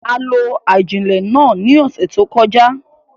A lo ajilẹ náà ni ọsẹ to kọja